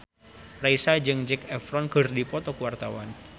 Raisa jeung Zac Efron keur dipoto ku wartawan